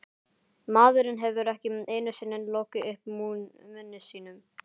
Maðurinn hefur ekki einu sinni lokið upp munni sínum.